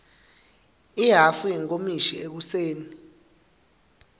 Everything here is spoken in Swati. ihhafu yenkomishi ekuseni